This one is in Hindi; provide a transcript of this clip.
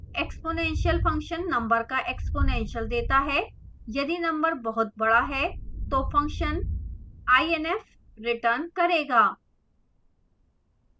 exp number का exponential देता है यदि number बहुत बड़ा है तो function inf रिटर्न करेगा